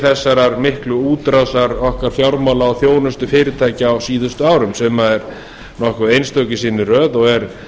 þessarar miklu útrásar okkar fjármála og þjónustufyrirtækja á síðustu árum sem er nokkuð einstök í sinni röð og er